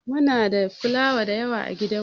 Muna da filawa dayawa a gidan mu.